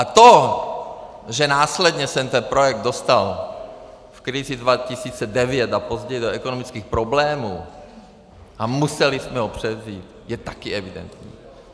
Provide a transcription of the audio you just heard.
A to, že následně se ten projekt dostal v krizi 2009 a později do ekonomických problémů a museli jsme ho převzít, je také evidentní.